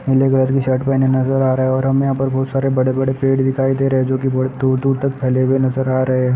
नीले कलर की शर्ट पहने नजर आ रहा है और हमें यहां पर बहुत सारे बड़े-बड़े पेड़ दिखाई दे रहे जो कि बोहुत दूर-दूर तक फैले हुए नजर आ रहे हैं।